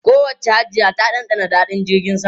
Kowacce Hajiya ta dandana daɗin jirgin sama.